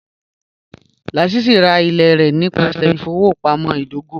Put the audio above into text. Lásísí rá ilẹ̀ rẹ nípasẹ̀ ilẹ̀-ìfọwọpamọ̀ idògò